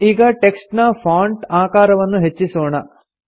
ಈಗ ಟೆಕ್ಸ್ಟ್ ನ ಫಾಂಟ್ ಆಕಾರವನ್ನು ಹೆಚ್ಚಿಸೋಣ